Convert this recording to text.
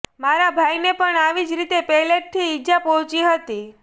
મારા ભાઈને પણ આવી જ રીતે પેલેટથી ઈજા પહોંચી હતી